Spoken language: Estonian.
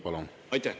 Palun!